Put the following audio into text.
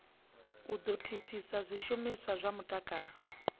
ngo thithisa zwishumiswa zwa mutakalo